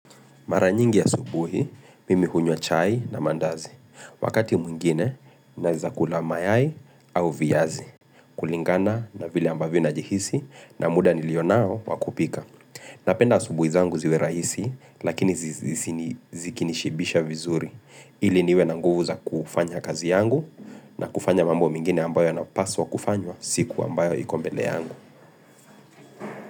Mara nyingi ya asubuhi, mimi hunywa chai na maandazi. Wakati mwingine, naweza kula mayai au viazi. Kulingana na vile ambavyo najihisi na muda nilionao wakupika. Napenda asubuhi zangu ziwe rahisi, lakini zikini shibisha vizuri. Ili niwe nanguvu za kufanya kazi yangu na kufanya mambo mwingine ambayo na paswa kufanywa siku ambayo ikombele yangu.